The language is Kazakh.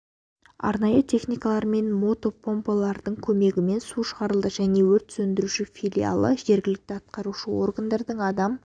арнайы техникалар мен мотопомпалардың көмегімен су шығарылды және өрт сөндіруші филиалы жергілікті атқарушы органдардың адам